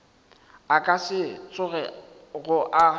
a ka se tsogego a